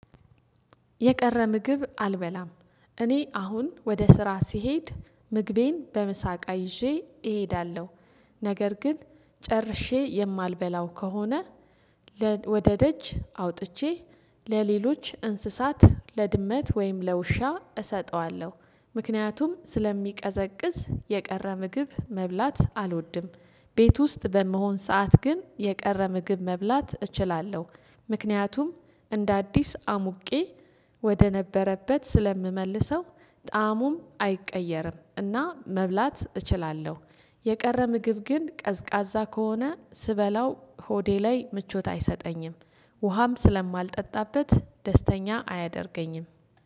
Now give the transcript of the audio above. የቀረ ምግብ አልበላም። እኔ አሁን ወደ ስራ ስሄድ ምግቤን በምሳቅ ይዤ እሄዳለሁ፤ ነገር ግን ጨርሼ የማልበላው ከሆነ ለ ወደ ደጅ አውጥቼ ለሌሎች እንስሳት ለድመት ወይም ለውሻ እሰጠዋለሁ። ምክንያቱም ስለሚቀዘቅዝ የቀረ ምግብ መብላት አልወድም። ቤት ውስጥ በምሆን ሰዓት ግን የቀረ ምግብ መብላት እችላለሁ። ምክንያቱም እንደ አዲስ አሙቄ ወደ ነበረበት ስለምመልሰው ጣእሙም አይቀየርም፤ እና መብላት እችላለሁ። የቀረ ምግብ ግን ቀዝቃዛ ከሆነ ስበላው ሆዴ ላይ ምቾት አይሰጠኝም። ውሃም ስለማልጠጣበት ደስተኛ አያደርገኝም።